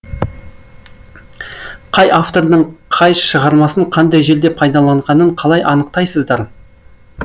қай автордың қай шығармасын қандай жерде пайдаланғанын қалай анықтайсыздар